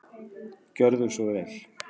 Gjörðu svo vel.